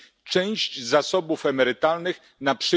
części zasobów emerytalnych, np.